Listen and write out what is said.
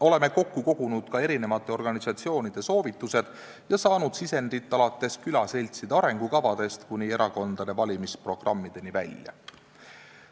Oleme kokku kogunud ka eri organisatsioonide soovitused ja saanud sisendit alates külaseltside arengukavadest kuni erakondade valimisprogrammideni välja.